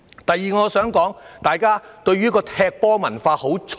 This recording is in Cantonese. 第二，我想說，大家的"踢球文化"很重。